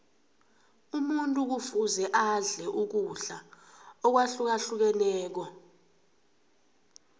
umuntu kufuze adle ukudla akwahlukahlukeneko